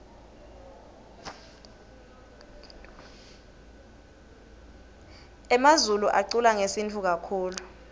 emazulu aculangesintfu kakitulu